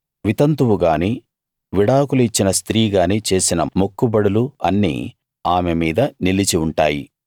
వితంతువు గాని విడాకులు ఇచ్చిన స్త్రీ గాని చేసిన మొక్కుబడులు అన్నీ ఆమె మీద నిలిచి ఉంటాయి